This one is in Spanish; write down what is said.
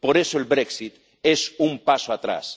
Por eso, el brexit es un paso atrás.